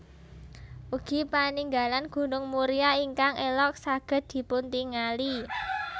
Ugi paningalan Gunung Muria ingkang elok saged dipuntingali